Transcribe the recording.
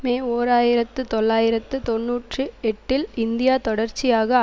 மே ஓர் ஆயிரத்து தொள்ளாயிரத்து தொன்னூற்று எட்டில் இந்தியா தொடர்ச்சியாக